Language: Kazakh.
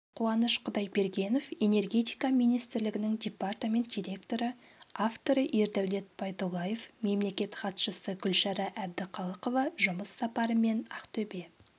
қуаныш құдайбергенов энергетика министрлігінің департамент директоры авторы ердәулет байдуллаев мемлекеттік хатшысы гүлшара әбдіқалықова жұмыс сапарымен ақтөбе